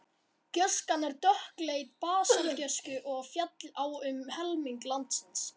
Gjóskan er dökkleit basaltgjóska og féll á um helming landsins.